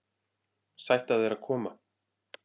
Sætt af þér að koma.